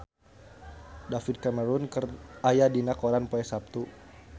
David Cameron aya dina koran poe Saptu